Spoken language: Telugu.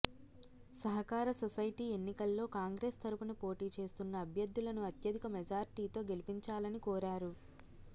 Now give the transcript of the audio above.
సహకార సొసైటీ ఎన్నికల్లో కాంగ్రెస్ తరుపున పోటీ చేస్తున్న అభ్యర్థులను అత్యధిక మెజార్టీతో గెలిపించాలనికోరారు